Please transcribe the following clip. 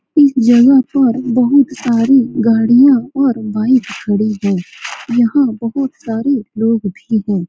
इस जगह पर बहुत सारी गाड़ियाँ और बाइक खड़ी हैं यहाँ बहुत सारे लोग भी हैं।